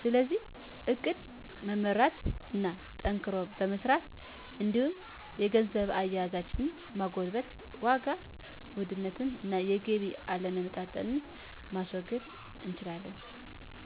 ስለዚህ እቅድ በመመራት እና ጠንክሮ በመስራት እንዲሁም የገንዘብ አያያዛችንን በማጎልበት የዋጋ ውድነትን እና የገቢ አለመመጣጠንን ማስወገድ እንችላለን።